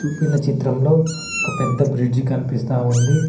ఊపిన చిత్రంలో ఒక పెద్ద బ్రిడ్జి కన్పిస్తా ఉంది.